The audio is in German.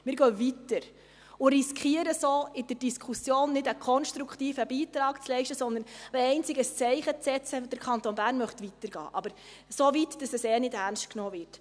Wir gehen weiter und riskieren so, in der Diskussion nicht einen konstruktiven Beitrag zu leisten, sondern einzig das Zeichen zu setzen, dass der Kanton Bern weiter gehen möchte, aber so weit, dass er ohnehin nicht ernst genommen wird.